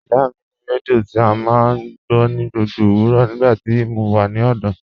Ìyá mi ni rẹdíò tí o máa ń gbọ̀ ní gbogbo owurọ́ nígbàtí mó wà ní ọ̀dọ̀.